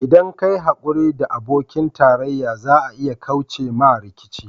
ldan ka yi haƙuri da abokin tarayya za a iya kauce ma rikici.